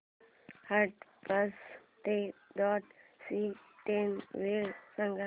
हडपसर ते दौंड ची ट्रेन वेळ सांग